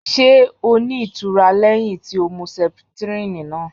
Ṣé o ní itura lẹhin tí o mú septrini náà?